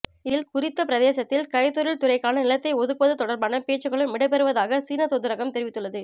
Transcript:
இதில் குறித்த பிரதேசத்தில் கைத்தொழில் துறைக்கான நிலத்தை ஒதுக்குவது தொடர்பான பேச்சுகளும் இடம்பெற்றதாக சீனத்தூதரகம் தெரிவித்துள்ளது